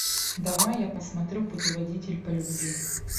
давай я посмотрю путеводитель по любви